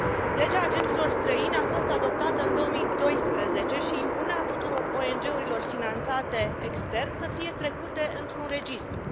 Legea agenților străini a fost adoptată în 2012 și impunea tuturor ONG urilor finanțate extern să fie trecute într un registru.